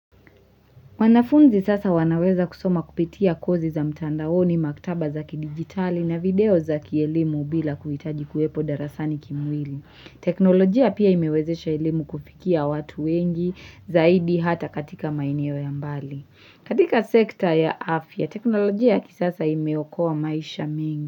Wanafunzi sasa wanaweza kusoma kupitia kozi za mtandaoni, maktaba za kidigitali na video za kielimu bila kuhitaji kuwepo darasani kimwili. Teknolojia pia imewezesha elimu kufikia watu wengi zaidi hata katika maeneo ya mbali. Katika sekta ya afya, teknolojia kisasa imeokoa maisha mengi.